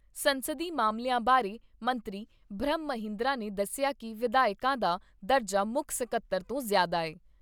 ਸੰਸਦੀ ਮਾਮਲਿਆਂ ਬਾਰੇ ਮੰਤਰੀ ਬ੍ਰਹਮ ਮਹਿੰਦਰਾ ਨੇ ਦੱਸਿਆ ਕਿ ਵਿਧਾਇਕਾਂ ਦਾ ਦਰਜਾ ਮੁੱਖ ਸਕੱਤਰ ਤੋਂ ਜ਼ਿਆਦਾ ਐ।